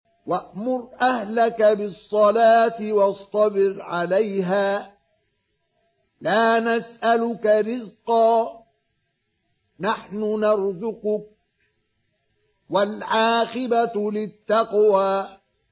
وَأْمُرْ أَهْلَكَ بِالصَّلَاةِ وَاصْطَبِرْ عَلَيْهَا ۖ لَا نَسْأَلُكَ رِزْقًا ۖ نَّحْنُ نَرْزُقُكَ ۗ وَالْعَاقِبَةُ لِلتَّقْوَىٰ